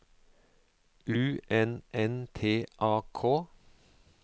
U N N T A K